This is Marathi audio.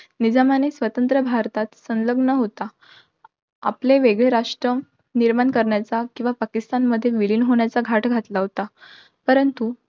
निजामाने स्वतंत्र भारतात संलग्न होता, आपल वेगळे राष्ट्र निर्माण करण्याचा किंवा पाकिस्तानमध्ये विलीन होण्याचा घाट घातला होता. परंतु,